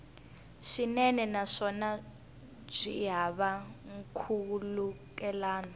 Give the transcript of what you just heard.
swinene naswona byi hava nkhulukelano